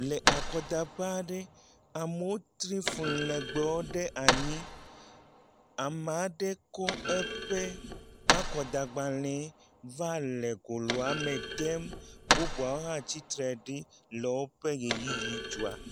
Le akɔdaƒe aɖe, amewo tri fli legbewo ɖe anyi, ame aɖe kɔ eƒe akɔdagbalẽ va le goloa me dem, bubuawo hã tsitre ɖi le woƒe ʋeyiʋi dzɔa.